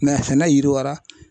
sɛnɛ yiriwara.